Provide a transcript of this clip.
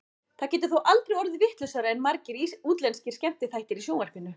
Það getur þó aldrei orðið vitlausara en margir útlenskir skemmtiþættir í sjónvarpinu.